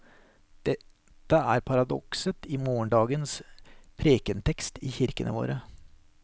Dette er paradokset i morgendagens prekentekst i kirkene våre.